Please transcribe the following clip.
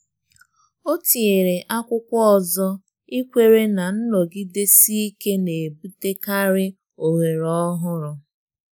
O tinyere akwụkwọ ọzọ, ikwere na nnọgidesi ike na-ebutekarị ohere ọhụrụ